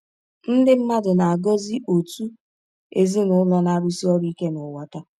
Ndị mmadụ na-agọzi òtù ezinụlọ na-arụsi ọrụ ike n’ụwa taa.